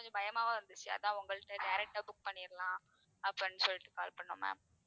கொஞ்சம் பயமாவும் இருந்துச்சு அதான் உங்கள்ட்ட direct ஆ book பண்ணிடலாம் அப்படின்னு சொல்லிட்டு call பண்ணோம் ma'am